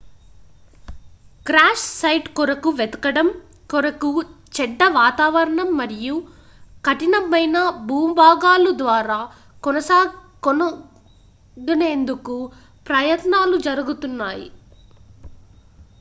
crash site కొరకు వెతకడం కొరకు చెడ్డ వాతావరణం మరియు కఠినమైన భూభాగాలు ద్వారా కనుగొనేందుకు ప్రయత్నాలు జరుగుతున్నాయి